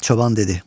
Çoban dedi: